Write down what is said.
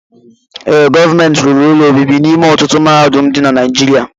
Ee, gọọmenti rụrụ ụlọ obibi n'ime ọtụtụ mahadum dị na Naijiriia.